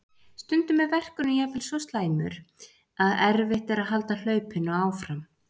Stundum er verkurinn jafnvel svo slæmur að erfitt er að halda hlaupinu áfram.